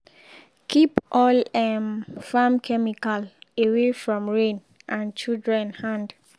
keep all um farm chemical away from rain and children hand.